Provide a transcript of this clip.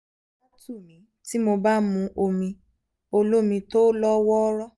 ara tù mí tí mo bá mu omi olómi tó lọ́ wọ́ọ́rọ́